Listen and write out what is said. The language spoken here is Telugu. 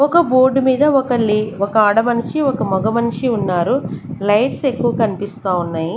ఒక బోర్డు మీద ఒక లే ఒక ఆడ మనిషి ఒక మొగ మనిషి ఉన్నారు లైట్స్ ఎక్కువ కనిపిస్తా ఉన్నాయి.